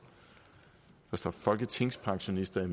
der står folketingspensionister